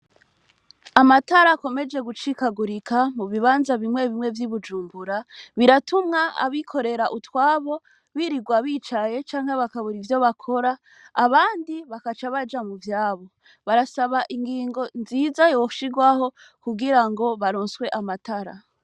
Amatara akomeje gucikagurika mubibanza bimwe vy’iBujumbura, biratuma abikorera utwabo baguma bicaye canke bakabura ivyo bakora abandi bagaca baja muvyabo. Barasaba ingingo nziza yoshirwaho kugirango baronswe amatara.